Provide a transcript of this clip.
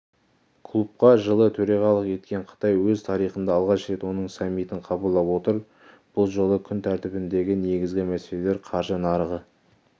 клубқа жылы төрағалық еткен қытай өз тарихында алғаш рет оның саммитін қабылдап отыр бұл жолы күн тәртібіндегі негізгі мәселелер қаржы нарығы